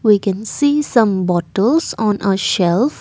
we can see some bottles on a shelve.